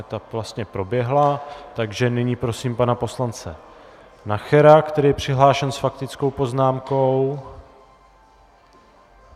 Ta vlastně proběhla, takže nyní prosím pana poslance Nachera, který je přihlášen s faktickou poznámkou.